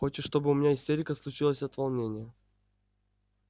хочешь чтобы у меня истерика случилась от волнения